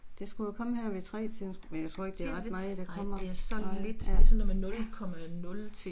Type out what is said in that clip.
Det skulle jo komme her ved 3-tiden, men jeg tror ikke det er ret meget der kommer, nej, ja, ja